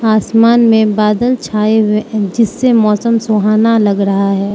आसमान में बादल छाए हुए है जिससे मौसम सुहाना लग रहा है।